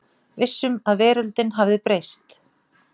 Vissum að veröldin hafði breyst.